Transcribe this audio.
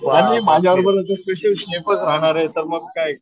आणि माझ्याबरोबर तर होणार आहे तर मग काय